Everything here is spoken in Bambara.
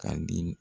Ka di